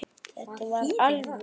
Þetta var alvöru.